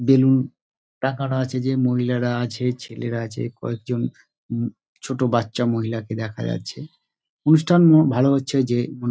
balloon টাঙানো আছে যে মহিলারা আছে ছেলেরা আছে কয়েকজন ছোট বাচ্চা মহিলাকে দেখা যাচ্ছে | অনুষ্ঠান ভালো হচ্ছে যে--